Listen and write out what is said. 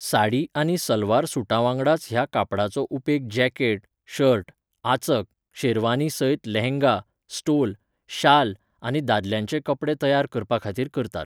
साडी आनी सलवार सूटांवांगडाच ह्या कापडाचो उपेग जॅकेट, शर्ट, आचक, शेरवानी सयत लेहंगा, स्टोल, शाल आनी दादल्यांचे कपडे तयार करपाखातीर करतात.